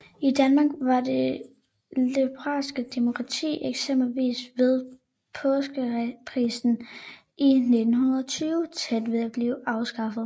I Danmark var det liberale demokrati eksempelvis ved Påskekrisen i 1920 tæt på at blive afskaffet